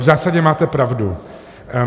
V zásadě máte pravdu.